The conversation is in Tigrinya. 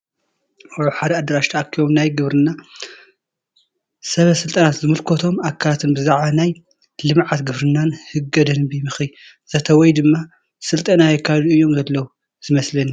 ኣብ ሓደ ኣዳራሽ ተኣኪቦም ናይ ግብርና ሰበስልጣናትን ዝምክለቶም ኣካላትን ብዛዕባ ናይ ልምዓት ግብርና ህገ ደንንቢ ምኽረ ዘተ ወይ ድማ ስልጠና የካይዱ እዮም ዘለዉ ዝመስለኒ ።